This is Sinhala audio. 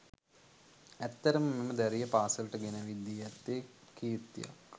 ඇත්තටම මෙම දැරිය පාසලට ගෙනැවිත් දී ඇත්තේ කීර්තියක්.